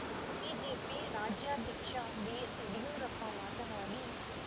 BJP ರಾಜ್ಯಾಧ್ಯಕ್ಷ BS Yediyurappa ಮಾತನಾಡಿ